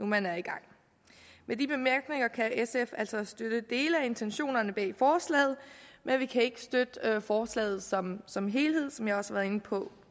man er i gang med de bemærkninger kan sf altså støtte dele af intentionerne bag forslaget men vi kan ikke støtte forslaget som som helhed som jeg også har været inde på